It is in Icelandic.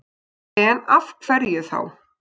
En af hverju þá?